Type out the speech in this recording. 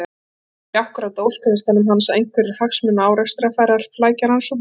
Þetta var nú ekki akkúrat á óskalistanum hans að einhverjir hagsmunaárekstrar færu að flækja rannsóknina.